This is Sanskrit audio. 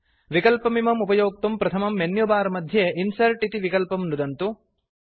विकल्पमिम् उपयोक्तुं प्रथमं मेन्युबार मध्ये इन्सर्ट् इति विकल्पं नुदन्तु